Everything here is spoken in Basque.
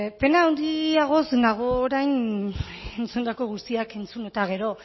pena handiagoz nago orain entzundako guztiak entzun eta gero